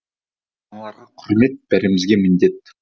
аналарға құрмет бәрімізге міндет